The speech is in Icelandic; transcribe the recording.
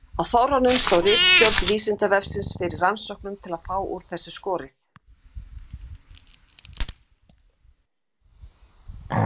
Á Þorranum stóð ritstjórn Vísindavefsins fyrir rannsóknum til að fá úr þessu skorið.